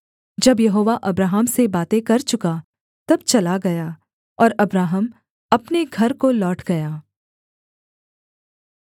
जब यहोवा अब्राहम से बातें कर चुका तब चला गया और अब्राहम अपने घर को लौट गया